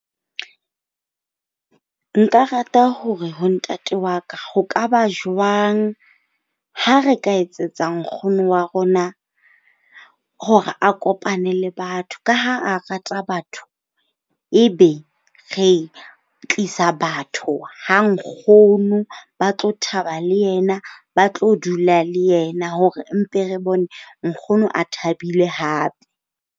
Nka rata hore ho ntate wa ka, ho ka ba jwang ha re ka etsetsa nkgono wa rona hore a kopane le batho ka ha a rata batho. Ebe re tlisa batho ha nkgono ba tlo thaba le yena, ba tlo dula le yena hore mpe re bone nkgono a thabile hape.